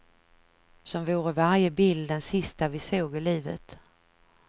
Som vore varje bild den sista vi såg i livet.